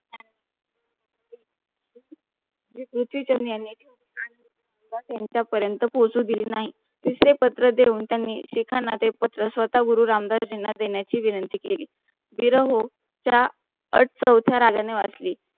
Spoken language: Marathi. यांचा परंत पोसु दिले नाही. तिसरे पत्र देऊन त्यांनी शिखांना ते पत्र स्वतः गुरु रामदास जीना देण्याची विंनंती केली धीराहोए च्या अथ चौथ्या रागाने वाचली.